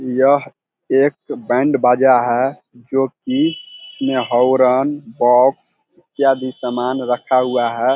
यह एक बैंड बाजा है जो की इसमें हौरन बॉक्स इत्यादी समान रखा हुआ है।